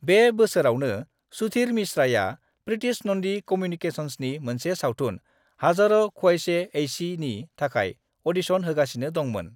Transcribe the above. बे बोसोरावनो, सुधीर मिश्राया, प्रीतिश नंदी कम्युनिकेशंसनि मोनसे सावथुन, हज़ारों ख्वाहिशें ऐसीनि थाखाय ऑडिशन होगासिनो दंमोन।